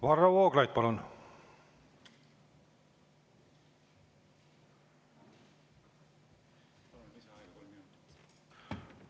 Varro Vooglaid, palun!